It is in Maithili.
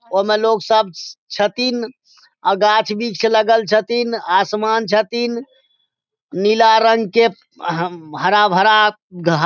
ओय मे लोग सब छथीन गाछ वृक्ष लगएल छथीन आसमान छथीन नीला रंग के उम्म हरा भरा घा --